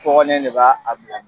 fɔɔnen de b'a a bila